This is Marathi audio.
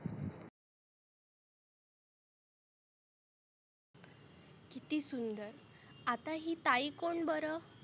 किती सुंदर आता ही ताई कोण बरं?